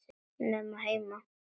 Nema heima.